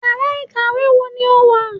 íyará ikáwe wọ ní o wá?